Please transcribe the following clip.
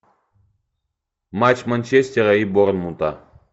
матч манчестера и борнмута